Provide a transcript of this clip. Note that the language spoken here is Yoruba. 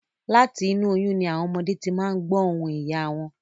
Láti inú oyún ni àwọn ọmọdé ti máa n gbọ̀ ohùn ìyá wọn